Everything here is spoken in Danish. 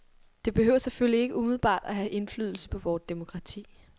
Det behøver selvfølgelig ikke umiddelbart at have indflydelse på vort demokrati.